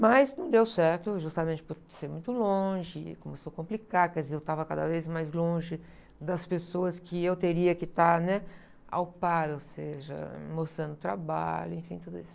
Mas não deu certo, justamente por ser muito longe, começou a complicar, quer dizer, eu estava cada vez mais longe das pessoas que eu teria que estar, né? Ao par, ou seja, mostrando trabalho, enfim, tudo isso.